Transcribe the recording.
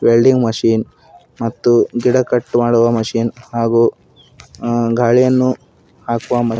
Welding machine ಮತ್ತು ಗಿಡ cut ಮಾಡುವ ಮಷಿನ್ ಹಾಗೂ ಗಾಳಿಯನ್ನು ಹಾಕುವ ಮ.